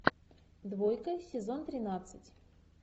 двойка сезон тринадцать